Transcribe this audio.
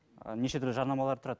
і нешетүрлі жарнамалар тұрады